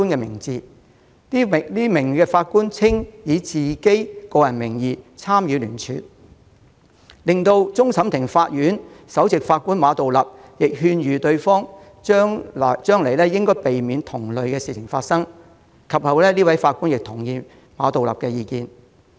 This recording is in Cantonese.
雖然該名法官表示，他以個人名義參與聯署，但終審法院首席法官馬道立亦勸諭他將來應避免發生同類事情，該名法官其後亦同意馬道立的意見。